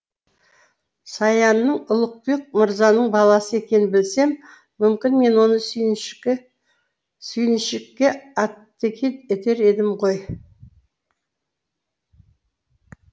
саянның ұлықбек мырзаның баласы екенін білсем мүмкін мен оны сүйіншікке атеке етер едім ғой